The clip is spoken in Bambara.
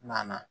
Na na